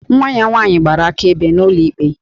Nwa ya nwaanyị gbara akaebe n'ụlọ ikpe